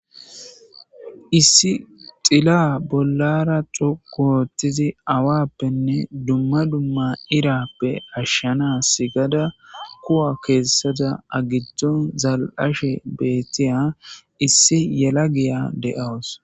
Issi xila bollara xukoothtizi awappenne dumma dumma irappe ashshana sigada kuwa keessada agittu zal7ashe beettiya issi yela giya de7awus.